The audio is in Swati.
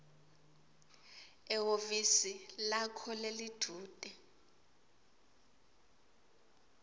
ehhovisi lakho lelidvute